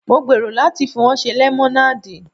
Mo gbèrò láti fi wọ́n ṣe lemonade.